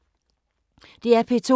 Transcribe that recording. DR P2